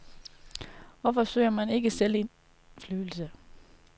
Hvorfor søger man ikke selv indflydelse.